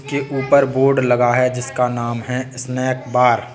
एक ऊपर बोर्ड लगा है जिसका नाम है स्नैक बार ।